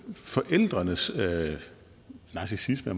forældrenes narcissisme